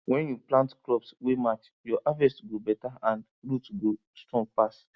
when you plant crops wey match your harvest go better and root go strong pass